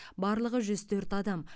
барлығы жүз төрт адам